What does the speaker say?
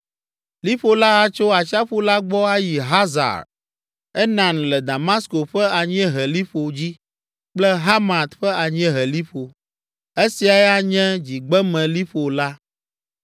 Liƒo la atso atsiaƒu la gbɔ ayi Hazar Enan le Damasko ƒe anyieheliƒo dzi kple Hamat ƒe anyieheliƒo. Esiae anye dzigbemeliƒo la.